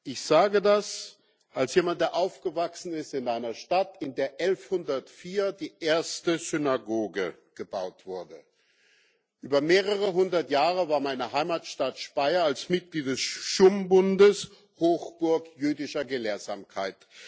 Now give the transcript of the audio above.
Ich sage das als jemand, der in einer Stadt aufgewachsen ist, in der 1104 die erste Synagoge gebaut wurde. Über mehrere hundert Jahre war meine Heimatstadt Speyer als Mitglied des SchUM Bundes Hochburg jüdischer Gelehrsamkeit.